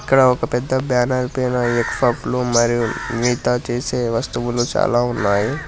ఇక్కడ ఒక పెద్ద బ్యానర్ పైన ఎగ్ ఫఫ్ లు మరియు మితా చేసే వస్తువులు చాలా ఉన్నాయి.